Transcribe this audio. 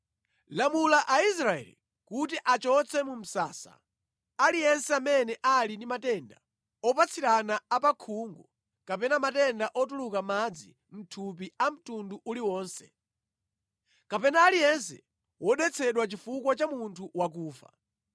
“Lamula Aisraeli kuti achotse mu msasa aliyense amene ali ndi matenda opatsirana a pa khungu kapena matenda otuluka madzi mʼthupi a mtundu uliwonse, kapena aliyense wodetsedwa chifukwa cha munthu wakufa.